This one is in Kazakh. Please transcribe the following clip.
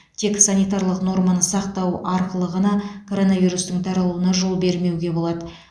тек санитарлық норманы сақтау арқылы ғана коронавирустың таралуына жол бермеуге болады